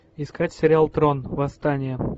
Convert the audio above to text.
искать сериал трон восстание